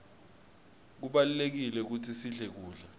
kubalulekile kutsi sidle kudla